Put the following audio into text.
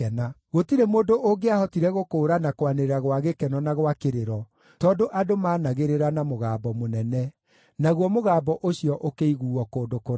Gũtirĩ mũndũ ũngĩahotire gũkũũrana kwanĩrĩra gwa gĩkeno na gwa kĩrĩro, tondũ andũ maanagĩrĩra na mũgambo mũnene. Naguo mũgambo ũcio ũkĩiguuo kũndũ kũraya.